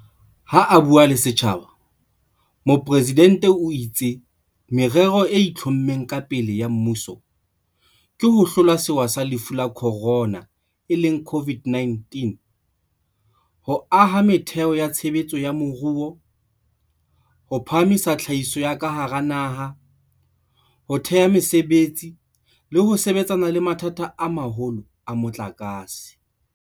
Ha a bua le setjhaba, Mopresidente o itse merero e itlhommeng ka pele ya mmuso ke ho hlola sewa sa Lefu la Khorona, COVID-19, ho aha metheo ya tshebetso ya moruo, ho phahamisa tlhahiso ya ka hara naha, ho thea mesebetsi le ho sebetsana le mathata a maholo a motlakase.